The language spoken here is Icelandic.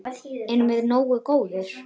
Erum við nógu góðir?